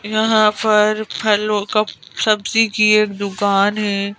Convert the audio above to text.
यहां पर फलों का सब्जी की एक दुकान है।